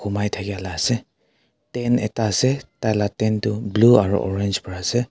Humai thakyala ase tent ekta ase taila tent tuh blue aro orange para ase.